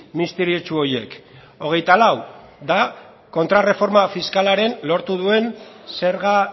misteriotsu horiek hogeita lau da kontrarreforma fiskalaren lortu duen zerga